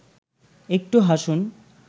একটু হাসুন